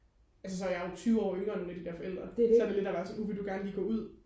altså så jeg er jo tyve år yngre end nogle af de der forældre så det er lidt at være sådan uh vil du gerne lige gå ud